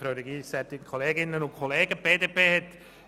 Die BDP hat